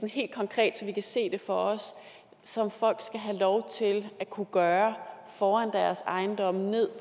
helt konkret så vi kan se det for os som folk skal have lov til at kunne gøre foran deres ejendomme og ned